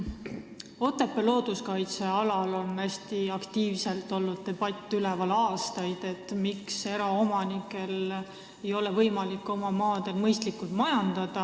Otepää looduskaitsealal on aastaid hästi aktiivselt kestnud debatt, miks eraomanikel ei ole võimalik oma maadel mõistlikult majandada.